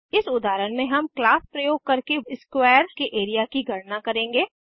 इस उदाहरण में हम क्लास प्रयोग करके वर्ग के एरिया की गणना करेंगे